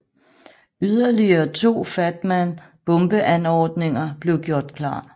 Yderligere to Fat Man bombeanordninger blev gjort klar